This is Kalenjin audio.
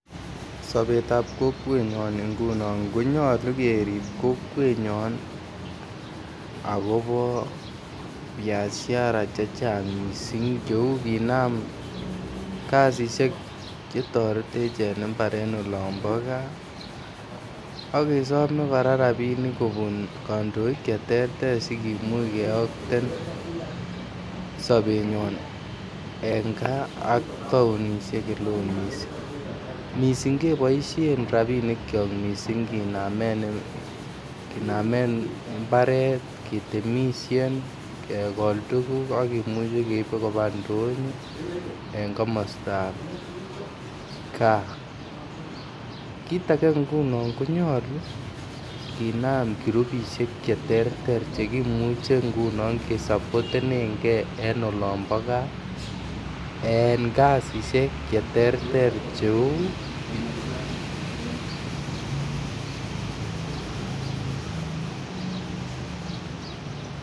Sobet ab kokwenyoon ingunon konyolu keriib kokweet nyoon agobo biashara chechang mising' cheuu kinaam kasisiek chetoretech en imbaar en olobo gaa ak kesome koraa rabinik kobuun kandooik chetrter sigimuuch kiyokteen sobenyoon en gaa ak taoishek cheloen mising, mising keboisheen rabinik kyook mising kenameen imbareet ketemishen kegool tuguuk ak kimuche keeiib kobaa ndonyo en komostaab gaa, kiit age ngunoon konyolu kinaam kurubishek cheterter chegimuche ngunon kesaboten gee en olombo gaa en kasisiek cheterter cheuu.